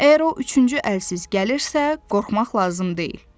Əgər o üçüncü əlsiz gəlirsə, qorxmaq lazım deyil.